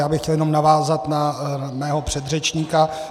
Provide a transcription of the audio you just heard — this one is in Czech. Já bych chtěl jenom navázat na svého předřečníka.